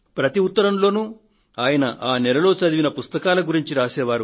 ప్రతి ఉత్తరంలో ఆయన ఆ నెలలో చదివిన పుస్తకాల గురించి రాసే వారు